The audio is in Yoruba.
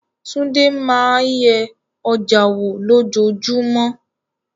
Tunde máa ń yẹ ọjà wò lójoojúmọ́.